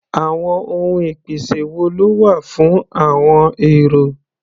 Àwọn ohun ìpèsè wo ló wà fún àọn èrò?